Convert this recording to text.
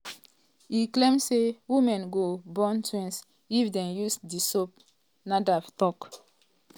e claim say women go born twins if dem use di soap" nafdac tok.